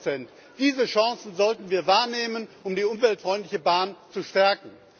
17 Diese Chance sollten wir wahrnehmen, um die umweltfreundliche Bahn zu stärken.